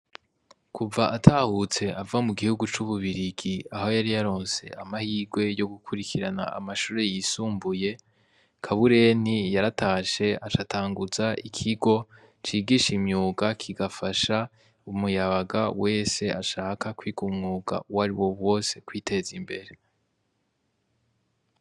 Kuva atahutse ava mu gihugu c‘ ububirigi aho yari yaronse amahirwe yo gukurikirana amashure yisumbuye, Kabureni yaratashe aca atanguza ikigo cigisha umwuga kigafasha umuyabaga wese ashaka kwiga umwuga uwari wo wose kwiteza imbere.